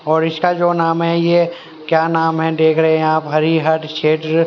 और इसका जो नाम है ये क्या नाम है देख रहे हैं आप हरिहर क्षेत्र--